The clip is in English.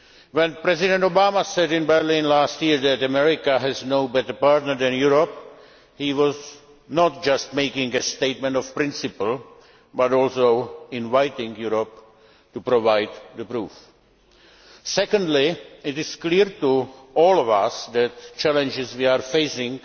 When President Obama said in Berlin last year that America has no better partner than Europe, he was not just making a statement of principle, but also inviting Europe to provide the proof. Secondly, it is clear to all of us that the challenges we are facing